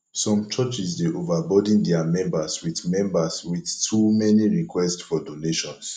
some churches dey overburden dia members with members with too many request for donations